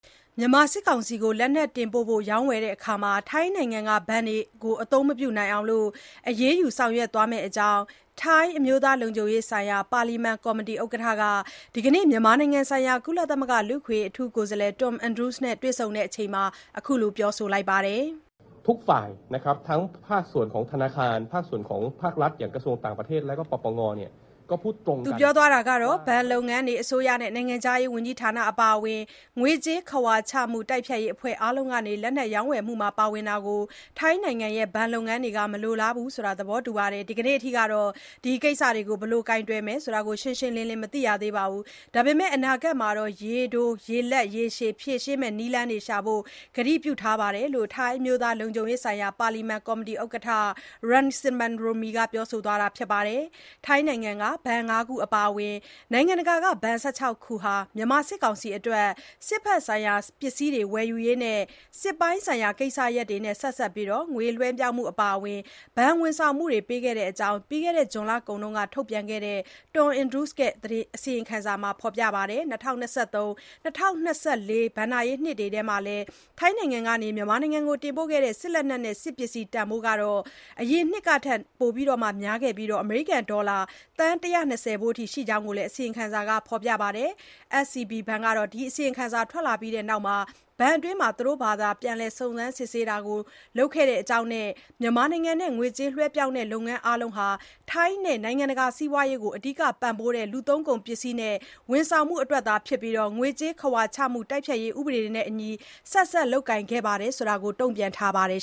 မြန်မာစစ်ကောင်စီကို လက်နက်တင်ပို့ဖို့ ရောင်းဝယ်ရာမှာ ထိုင်းနိုင်ငံက ဘဏ်တွေကို အသုံးမပြုအောင် အရေးယူ ဆောင်ရွက်သွားမယ့်အကြောင်း ထိုင်းအမျိုးသားလုံခြုံရေးဆိုင်ရာ ပါလီမန်ကော်မတီဥက္ကဋ္ဌက ဒီနေ့ မြန်မာနိုင်ငံဆိုင်ရာ ကုလသမဂ္ဂ လူ့အခွင့်အရေး အထူးကိုယ်စားလှယ် Tom Andrews နဲ့ တွေ့ဆုံစဉ်မှာ ပြောဆိုပါတယ်။ "ဘဏ်လုပ်ငန်းတွေ၊ အစိုးရနဲ့ နိုင်ငံခြားရေးဝန်ကြီးဌာန အပါအဝင် ငွေကြေးခဝါချမှု တိုက်ဖျက်ရေး အဖွဲ့ အားလုံးက လက်နက် ရောင်းဝယ်မှုတွေမှာ ပါဝင်တာကို ထိုင်းနိုင်ငံရဲ့ ဘဏ်လုပ်ငန်းတွေ မလိုလားဘူးဆိုတာ သဘောတူထားပါတယ်။ ဒီနေ့အထိတော့ ဒီကိစ္စတွေကို ဘယ်လို ကိုင်တွယ်မယ်ဆိုတာ ရှင်းရှင်းလင်းလင်း မသိရသေးပါဘူး။ ဒါပေမဲ့ အနာဂတ်မှာ ရေတို ရေလတ်၊ ရေရှည် ဖြေရှင်းမယ့် နည်လမ်းတွေ ရှာဖို့ ကတိပြုထားပါတယ်"ဆိုပြီး ထိုင်း အမျိုးသား လုံခြုံရေးဆိုင်ရာ ပါလီမန် ကော်မတီ ဥက္ကဋ္ဌ Rangsiman Rome က ပြောဆိုသွားတာပါ။ ထိုင်းနိုင်ငံက ဘဏ် ၅ ခု အပါအဝင် နိုင်ငံတကာက ဘဏ် ၁၆ ခုဟာ မြန်မာ စစ်ကောင်စီ အတွက် စစ်ဘက်ဆိုင်ရာ ပစ္စည်းတွေ ၀ယ်ယူရေး စစ်ပိုင်းဆိုင်ရာ ကိစ္စရပ်တွေနဲ့ ဆက်စပ်ပြီး ငွေလွှဲပြောင်းမှု အပါအ၀င် ဘဏ်၀န်ဆောင်မှုတွေ ပေးခဲ့ကြောင်း ဇွန်လကုန်က ထုတ်ပြန်ခဲ့တဲ့ Tom Andrews ရဲ့ အစီရင်ခံစာမှာ ဖေါ်ပြပါတယ်။ ၂၀၂၃-၂၀၂၄ ဘဏ္ဍာရေးနှစ်အတွင်း ထိုင်းနိုင်ငံကနေ မြန်မာနိုင်ငံကို တင်ပို့ခဲ့တဲ့ စစ်လက်နက်နဲ့ စစ်ပစ္စည်း တန်ဖိုးဟာ အရင်နှစ်ကထက် နှစ်ပိုများခဲ့ပြီး အမေရိကန် ဒေါ်လာ သန်း ၁၂၀ ဖိုးအထိ ရှိတဲ့ အကြောင်းလည်း အစီရင်ခံစာက ဖေါ်ပြပါတယ်။ SCB ဘဏ်ကတော့ ဒီ အစီရင်ခံစာ ထွက်လာပြီး ဘဏ်အတွင်းမှာ သူတို့ဘာသာ ပြန်လည် စုံစမ်း စစ်ဆေးတာတွေ လုပ်ခဲ့တဲ့အကြောင်းနဲ့ မြန်မာနိုင်ငံနဲ့ ငွေကြေးလွှဲပြောင်းတဲ့ လုပ်ငန်း အားလုံးဟာ ထိုင်းနဲ့ နိုင်ငံတကာ စီးပွားရေးကို အဓိကပံ့ပိုးတဲ့ လူသုံးကုန် ပစ္စည်းနဲ့ ဝန်ဆောင်မှုအတွက် ဖြစ်ပြီး ငွေကြေးခဝါချမှု တိုက်ဖျက်ရေး ဥပဒေတွေနဲ့အညီ ဆက်စပ် လုပ်ကိုင်ခဲ့တာတွေသာ ဖြစ်တယ်လို့ တုံ့ပြန်ထားပါတယ်